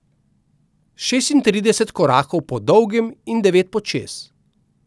Šestintrideset korakov po dolgem in devet počez.